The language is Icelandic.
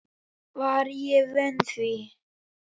Var ég vön því?